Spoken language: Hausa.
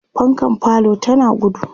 fankan falo tana gudu